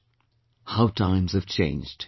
" How times have changed